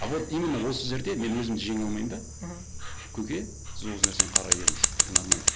а вот именно осы жерде мен өзімді жеңе алмаймын да мхм көке сіз осы нәрсені қарай беріңіз это нормально